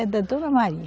É da Dona Maria.